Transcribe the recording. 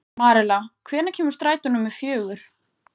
Marela, hvenær kemur strætó númer fjögur?